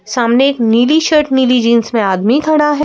सामने एक नीली शर्ट नीली जींस में आदमी खड़ा है।